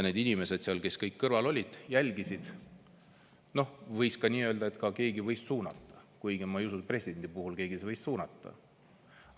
Need inimesed, kes seal kõrval olid ja jälgisid – võis ka nii öelda, et keegi võis suunata, kuigi ma ei usu, et presidenti võis keegi suunata.